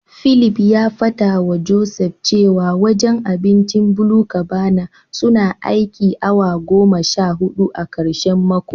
Philip ya fadawa Joseph cewa wajen abincin BluCabana suna aikin awa goma sha hudu a karshen mako.